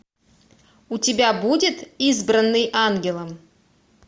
у тебя будет избранный ангелом